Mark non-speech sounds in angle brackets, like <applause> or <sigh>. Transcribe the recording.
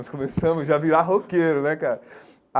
<laughs> Nós começamos já a virar roqueiro, né, cara?